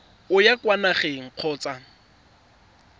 o ya kwa nageng kgotsa